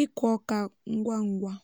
ịkụ oka ngwa ngwa